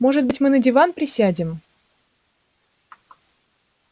может быть мы на диван присядем